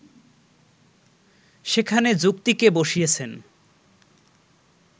সেখানে যুক্তিকে বসিয়েছেন